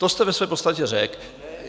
To jste ve své podstatě řekl.